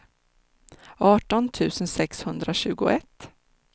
arton tusen sexhundratjugoett